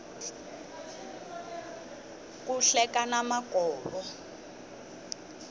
ku hlekana makovo